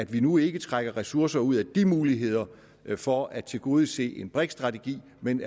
vi nu ikke trækker ressourcer ud af de muligheder for at tilgodese en briks strategi men